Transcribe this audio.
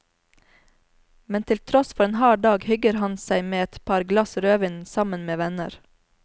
Men til tross for en hard dag hygger han seg med et par glass rødvin sammen med venner.